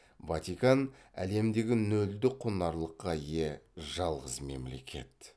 ватикан әлемдегі нөлдік құнарлылыққа ие жалғыз мемлекет